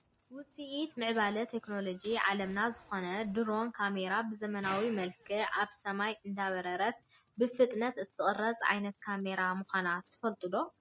ውፂኢት ምዕባለ ቴክኖሎጂ ዓለምና ዝኮነት ድሮን ካሜራ ብዘመናዊ መልክዕ ኣብ ሰማይ እንዳበረረት ብፍጥነት እትቀርፅ ዓይነት ካሜራ ምኳና ትፈልጡ ዶ ?